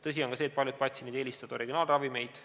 Tõsi on ka see, et paljud patsiendid eelistavad originaalravimeid.